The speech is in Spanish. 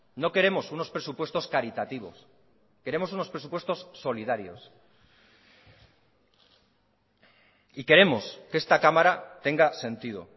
no queremos unos presupuestos caritativos queremos unos presupuestos solidarios y queremos que esta cámara tenga sentido